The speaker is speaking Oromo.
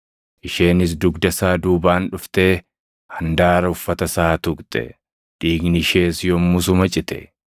Isheenis dugda isaa duubaan dhuftee handaara uffata isaa tuqxe; dhiigni ishees yommusuma cite.